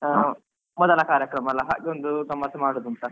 ಮೊದಲ ಕಾರ್ಯಕ್ರಮ ಅಲ್ಲ ಹಾಗೆ ಒಂದು ಗಮ್ಮತ್ ಮಾಡುದು ಅಂತ.